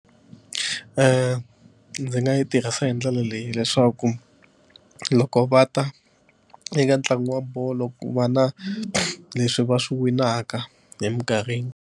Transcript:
Ndzi nga yi tirhisa hi ndlela leyi leswaku loko va ta eka ntlangu wa bolo ku va na leswi va swi winaka eminkarhini.